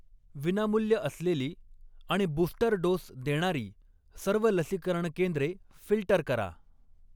विनामूल्य असलेली आणि बूस्टर डोस देणारी सर्व लसीकरण केंद्रे फिल्टर करा.